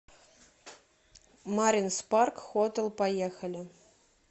маринс парк хотэл поехали